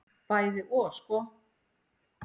Bæði og sko.